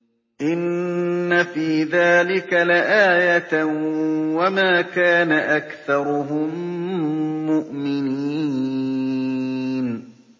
إِنَّ فِي ذَٰلِكَ لَآيَةً ۖ وَمَا كَانَ أَكْثَرُهُم مُّؤْمِنِينَ